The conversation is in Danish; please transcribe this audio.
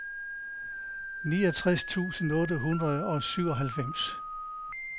niogtres tusind otte hundrede og syvoghalvfems